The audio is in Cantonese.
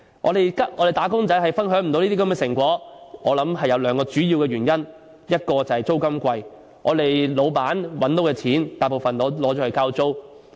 我們的"打工仔"不能分享這些成果，我想有兩個主要原因，第一是租金昂貴，老闆賺到的金錢大部分用作交租。